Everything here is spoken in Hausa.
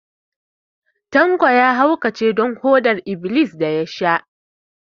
Tanko ya haukace don foɗar-iblis da ya sha